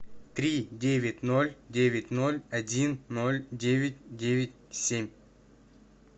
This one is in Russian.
три девять ноль девять ноль один ноль девять девять семь